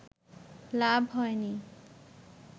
লাভ হয়নি